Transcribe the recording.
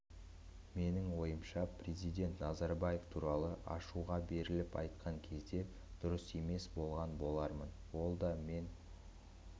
менің ойымша президент назарбаев туралы ашуға беріліп айтқан кезде дұрыс емес болған болармын ол да мен